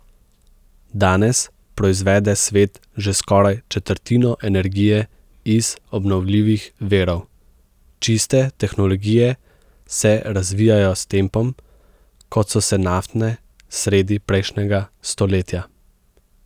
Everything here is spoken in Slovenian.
Danes proizvede svet že skoraj četrtino energije iz obnovljivih virov, čiste tehnologije se razvijajo s tempom, kot so se naftne sredi prejšnjega stoletja.